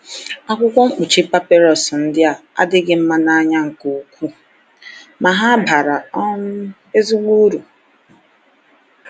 Akwụkwọ mkpuchi papịrụs ndị a adịghị mma n’anya nke ukwuu, ma ha bara um ezigbo uru.